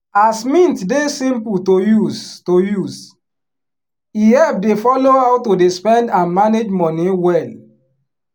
as mint dey simple to use to use e help dey follow how to dey spend and manage money wel